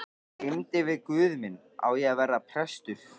Glímdi við guð minn: Á ég að verða prestur?